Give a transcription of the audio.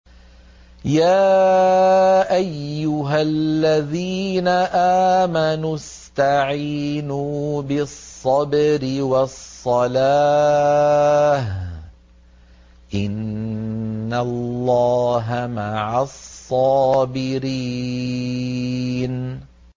يَا أَيُّهَا الَّذِينَ آمَنُوا اسْتَعِينُوا بِالصَّبْرِ وَالصَّلَاةِ ۚ إِنَّ اللَّهَ مَعَ الصَّابِرِينَ